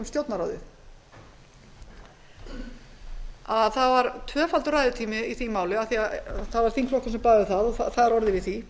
stjórnarráðið það var tvöfaldur ræðutími í því máli af því að það var þingflokkur sem bað um það og það var orðið við því